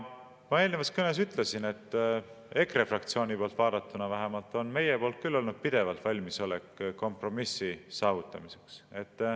Ma eelnevas kõnes ütlesin, et EKRE fraktsiooni poolt vaadatuna on vähemalt meil küll olnud pidevalt valmisolek kompromissi saavutamiseks.